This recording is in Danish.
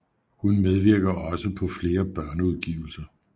Hun medvirker også på flere børneudgivelser